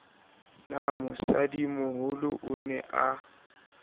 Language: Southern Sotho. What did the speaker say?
na mosadimoholo o ne a